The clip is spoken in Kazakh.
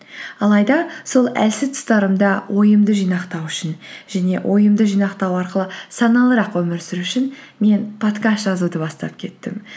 алайда сол әлсіз тұстарымда ойымды жинақтау үшін және ойымды жинақтау арқылы саналырақ өмір сүру үшін мен подкаст жазуды бастап кеттім